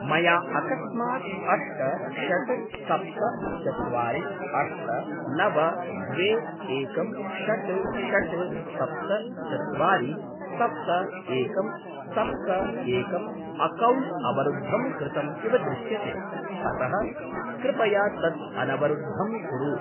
मया अकस्मात् अष्ट षड् सप्त चत्वारि अष्ट नव द्वे एकं षड् षड् सप्त चत्वारि सप्त एकं सप्त एकं अक्कौण्ट् अवरुद्धं कृतम् इव दृश्यते अतः कृपया तत् अनवरुद्धं कुरु।